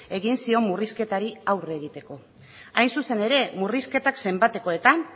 egin zion murrizketari aurre egiteko hain zuzen ere murrizketak zenbatekoetan